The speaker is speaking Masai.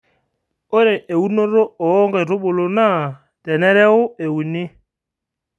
ore eunoto ooo nkaitubulu NAA tenareu euni